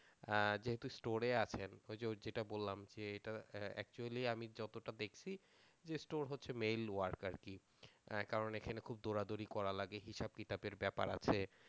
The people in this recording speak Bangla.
যেহেতু স্টোরে আছেন ওই যে যেটা বললাম আমি যতটা দেখছি যে স্টোর হচ্ছে মেইল ওয়ার্ক আর কি কারণ খুব দৌড়াদৌড়ি করার লাগে হিসাব কিতাবের ব্যাপার আছে।